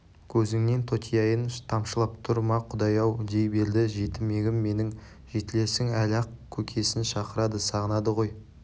көзіңнен тотияйын тамшылап тұр ма құдай-ау дей берді жетімегім менің жетілерсің әлі-ақ көкесін шақырады сағынады ғой